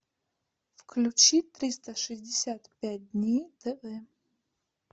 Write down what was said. включи триста шестьдесят пять дней тв